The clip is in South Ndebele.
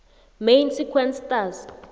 main sequence stars